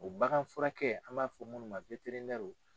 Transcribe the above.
O bagan furakɛ an b'a fɔ minnu ma